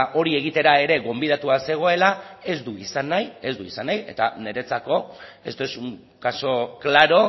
hori egitera ere gonbidatua zegoela ez du izan nahi eta niretzako esto es un caso claro